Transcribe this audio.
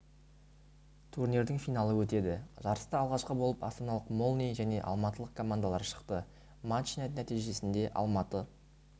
турнирдің финалы өтеді жарыста алғашқы болып астаналық молнии және алматылық командалары шықты матч нәтижесінде алматы